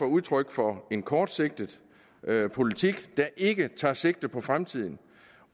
udtryk for en kortsigtet politik der ikke tager sigte på fremtiden